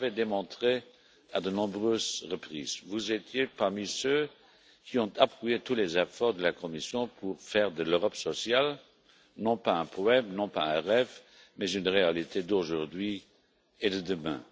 Vous l'avez démontré à de nombreuses reprises, vous étiez parmi ceux qui ont appuyé tous les efforts de la Commission pour faire de l'Europe sociale, non pas un poème, non pas un rêve, mais une réalité d'aujourd'hui et de demain.